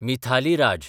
Mithali Raj